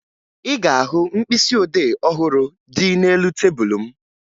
Ị ga-ahụ mkpịsịodee ọhụrụ dị n'elu tebulu m